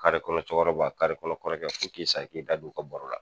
Kare kɔnɔ cokɔrɔba kare kɔnɔ kɔrɔkɛ f'o k'i sa i t'i da don u ka baro la